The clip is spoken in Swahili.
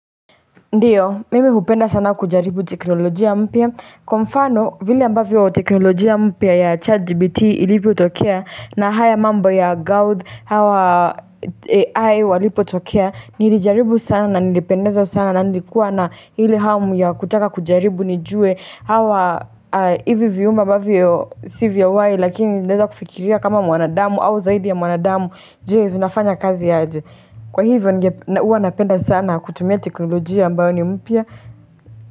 Ndiyo, mimi hupenda sana kujaribu teknolojia mpya. Kwa mfano, vile ambavyo teknolojia mpya ya ChatGPT ilivyotokea na haya mambo ya Claude hawa AI walipo tokea, nilijaribu sana, nilipendezwa sana, na niikuwa na hili hamu ya kutaka kujaribu, nijue hawa hivi vyuma ambavyo si vya uhai, lakini inaeza kufikiria kama mwanadamu au zaidi ya mwanadamu, je vinafanya kazi ya aje. Kwa hivyo huwa napenda sana kutumia teknolojia ambayo ni mpya.